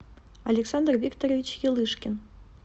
александр викторович елышкин